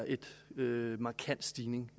en markant stigning